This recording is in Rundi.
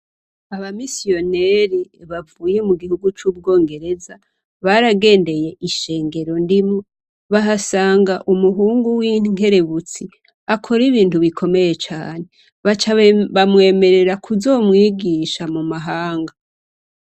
Abamisiyoneri bavuye mu gihugu c'ubwongereza baragendeye ishengero ndimwo bahasanga umuhungu w'inkerebutsi akora ibintu bikomeye cane aca bamwemerera kuzomwigisha mu mahanga.